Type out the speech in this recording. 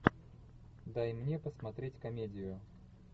дай мне посмотреть комедию